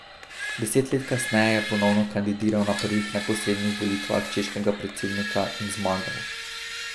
Deset let kasneje je ponovno kandidiral na prvih neposrednih volitvah češkega predsednika in zmagal.